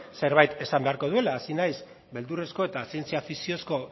zerbait esan beharko duela hasi naiz beldurrezko eta zientzia fikziozko